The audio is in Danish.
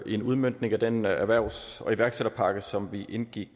en udmøntning af den erhvervs og iværksætterpakke som vi indgik